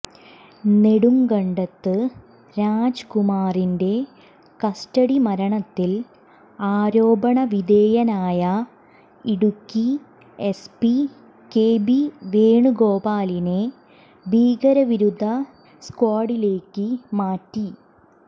നെടുങ്കണ്ടത്ത് രാജ്കുമാറിന്റെ കസ്റ്റഡിമരണത്തിൽ ആരോപണ വിധേയനായ ഇടുക്കി എസ്പി കെ ബി വേണുഗോപാലിനെ ഭീകരവിരുദ്ധ സ്ക്വാഡിലേക്ക് മാറ്റി